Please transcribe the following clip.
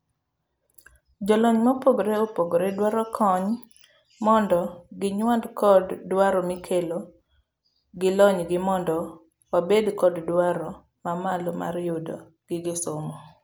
jolony mopogre opogre dwaro kony mondo ginywand kod dwaro mikelo gilonygi mondo wabed kod dwaro mamalo mar yudo gige somo.